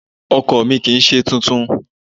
Ọkọ̀ mi kì ń ṣe tuntun.